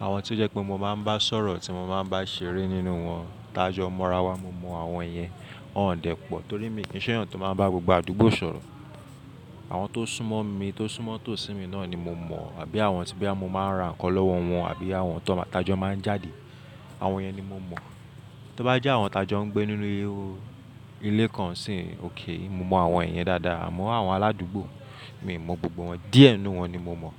àwọn tí ó jẹ́ pé mo máa ń bá sọ̀rọ̀ tí mo máa ń bá ṣeré nínú wọn, tajọ́ mọra wa. Mo mọ àwọn iyẹn, wọn ò dẹ́ pọ̀ torí mi kì í ṣọ́yàn tó máa ń bá gbogbo àdúgbò sọ̀rọ̀. Àwọn tó súnmọ́ mi, tó súnmọ́ tòsí mi náà ni mo mọ̀ àbí àwọn tí bí mo máa ń ra nǹkan lọ́wọ́ wọn àbí àwọn tí tajọ́ máa ń jáde, àwọn iyẹn ni mo mọ̀. Tí ó bá jẹ́ àwọn tajọ́ ń gbé nínú ilé kan sì ókè, mo mọ àwọn èyẹn dáadáa, àmọ́ àwọn aládùúgbò mi, mi ò mọ gbogbo wọn, díẹ̀ nínú wọn ni mo mọ̀